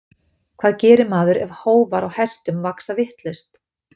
hvað gerir maður ef hófar á hestum vaxa vitlaust